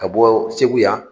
Ka bɔ Segu yan